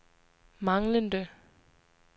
manglende